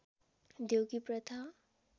देउकी प्रथा